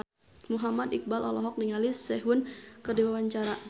Muhammad Iqbal olohok ningali Sehun keur diwawancara